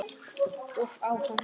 Og á hann.